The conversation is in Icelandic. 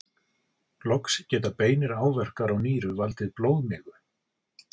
Loks geta beinir áverkar á nýru valdið blóðmigu.